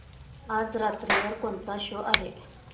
आज रात्री वर कोणता शो आहे